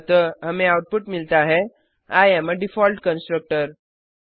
अतः हमें आउटपुट मिलता है आई एएम आ डिफॉल्ट कंस्ट्रक्टर